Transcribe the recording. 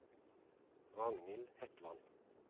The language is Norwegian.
Ragnhild Hetland